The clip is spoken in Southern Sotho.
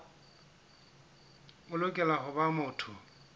o lokela ho ba motho